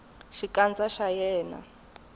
xikandza xa yena a xi